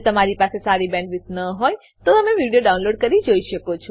જો તમારી પાસે સારી બેન્ડવિડ્થ ન હોય તો તમે વિડીયો ડાઉનલોડ કરીને જોઈ શકો છો